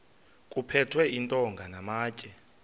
kuphethwe iintonga namatye